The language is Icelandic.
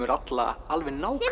alla alveg nákvæmlega